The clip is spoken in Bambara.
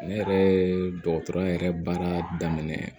Ne yɛrɛ ye dɔgɔtɔrɔya yɛrɛ baara daminɛ